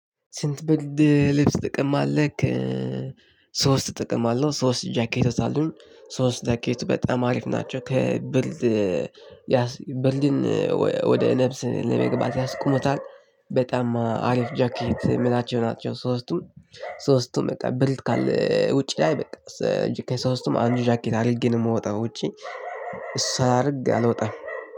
ስንት ብርድ ልብስ ትጠቀማለክ? ሶስት እጠቀማለው ሶስት ጃኬቶች አሉኝ ሶስት ጃኬት በጣም አሪፍ ናቸው ከብርድ ብርድን ወደ ነፍስ ለመግባት ያስቆሙታል። በጣም አሪፍ ጃኬት የምላቸው ናቸው ሶስቱም። ሶስቱም በቃ ብርድ ካለ ውጪ ላይ በቃ ከሶሰቱም አንዱ ጃኬት አድርጌ ነው የምወጣው። ውጪ ሳላደርግ አልወጣም።